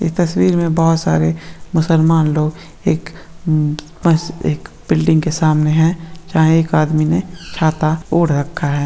इस तस्वीर में बहुत सारे मुसलमान लोग एक बिल्डिंग के सामने है जहाँ एक आदमी ने छाता ओढ़ रखा है।